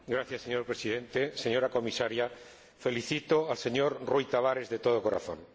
Señor Presidente, señora Comisaria, felicito al señor Rui Tavares de todo corazón.